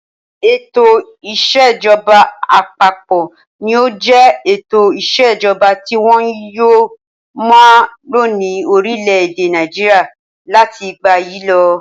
Ètò ìṣèjọba àpapọ̀ ni yóò jẹ ètò ìṣèjọba tí wọn yóò máa lo ní orílẹ̀-èdè Nàìjíríà láti ìgbà yìí lọ.